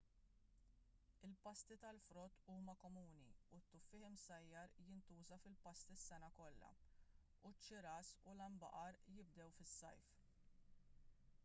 il-pasti tal-frott huma komuni u t-tuffieħ imsajjar jintuża fil-pasti s-sena kollha u ċ-ċiras u l-għanbaqar jibdew fis-sajf